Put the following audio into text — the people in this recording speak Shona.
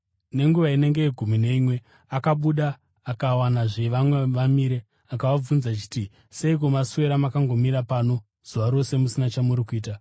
Nenguva inenge yegumi neimwe akabuda akawanazve vamwe vamire. Akavabvunza achiti, ‘Seiko, maswera makangomira pano zuva rose musina chamuri kuita?’